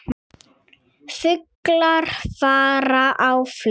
Fuglar fara á flug.